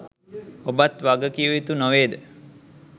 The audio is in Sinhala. ඔබත් වගකිවයුතු නොවේද?